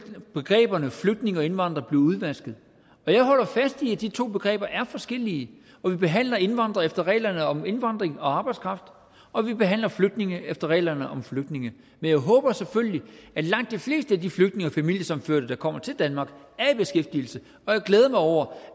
begreberne flygtninge og indvandrere blive udvasket jeg holder fast i at de to begreber er forskellige og vi behandler indvandrere efter reglerne om indvandring og arbejdskraft og vi behandler flygtninge efter reglerne om flygtninge men jeg håber selvfølgelig at langt de fleste af de flygtninge og familiesammenførte der kommer til danmark er i beskæftigelse og jeg glæder mig over